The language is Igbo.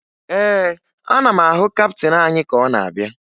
Ee, ana m ahụ kaptịn anyị ka ọ na-abịa